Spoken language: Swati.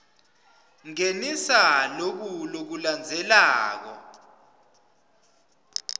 ngenisa loku lokulandzelako